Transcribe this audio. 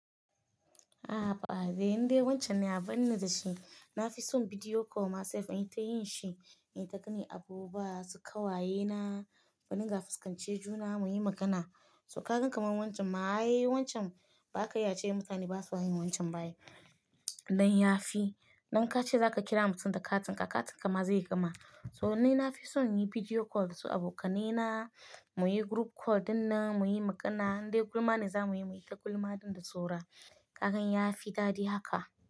A'a haba dai, wancan ne a barni da shi. Na fi son bidiyo call ma sai inyi ta yin shi, ita gani abubuwa su ƙawaye na, mu din ga fuskantar juna mu yi magana. So ka ga kamar wancan ma, ai wancan ba ka iya ce mutane ba su yin wancan ba ai. Don ya fi, don ka ce za ka kira mutum da katin ka, katin ka ma zai gama. To ni na fi son yin bidiyo call su abokanai na, mu yi group call dinnan mu yi magana, duk gulma ne za mu yi, mu yi ta gulma dinnan da saura. Hakan ya fi daɗi haka.